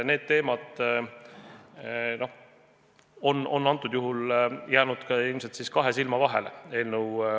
Need teemad on eelnõu autoritel ilmselt jäänud kahe silma vahele.